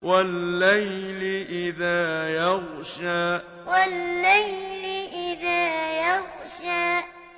وَاللَّيْلِ إِذَا يَغْشَىٰ وَاللَّيْلِ إِذَا يَغْشَىٰ